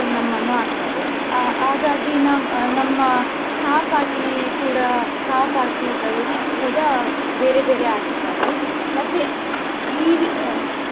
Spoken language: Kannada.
ನಮ್ಮನ್ನು ಹಾಕ್ತಾರೆ ಹಾಗಾಗಿ ನಮ್ಮ್~ ನಮ್ಮ ಸಹಪಾಟಿ ಕೂಡಾ ಸಹಪಾಟಿಗಳು ಕೂಡಾ ಬೇರೆ ಬೇರೆ ಆಗ್ತಾರೆ ಮತ್ತೆ ಈ.